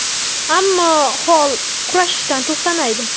Ammo Holl kurashishdan to‘xtamaydi.